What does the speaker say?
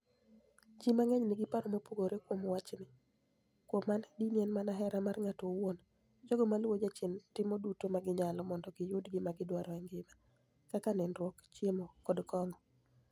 Ji manig'eniy niigi paro mopogore kuom wachnii. Kuom ani, dini eni mania hera mar nig'ato owuoni. Jogo maluwo jachieni timo duto ma giniyalo monido giyud gima gidwaro e nigima, kaka niinidruok, chiemo, koda konig'o.